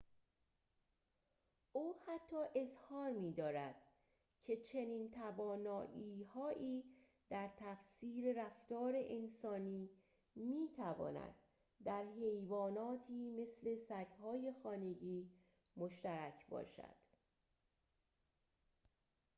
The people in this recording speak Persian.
او حتی اظهار می‌دارد که چنین توانایی‌هایی در تفسیر رفتار انسانی می‌تواند در حیواناتی مثل سگ‌های خانگی مشترک باشد